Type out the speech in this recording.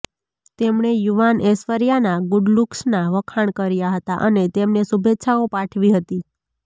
તેમણે યુવાન ઐશ્વર્યાના ગુડ લુક્સના વખાણ કર્યા હતાં અને તેમને શુભેચ્છાઓ પાઠવી હતી